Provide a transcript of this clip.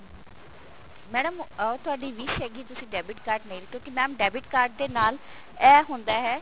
madam ਉਹ ਤੁਹਾਡੀ wish ਹੈਗੀ ਤੁਸੀਂ debit card ਨਹੀਂ ਲੈ ਕਿਉਂਕਿ mam debit card ਦੇ ਨਾਲ ਇਹ ਹੁੰਦਾ ਹੈ